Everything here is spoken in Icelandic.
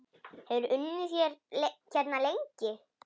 Hefurðu unnið hérna lengi?